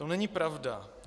To není pravda.